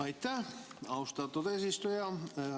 Aitäh, austatud eesistuja!